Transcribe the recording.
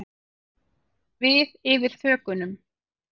Við yfir þökunum.